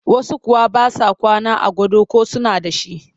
Wasu kuwa ba sa kwana a gado ko suna da shi